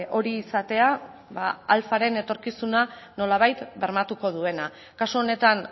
hori izatea alfaren etorkizuna nolabait bermatuko duena kasu honetan